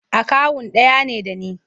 Akawun ɗaya ne da ni.